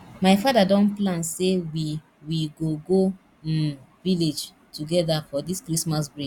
my father don plan say we we go go um village together for dis christmas break